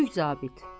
Kiçik zabit.